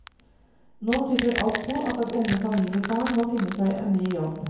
Nå tyder alt på at den unge familiefaren må finne seg en ny jobb.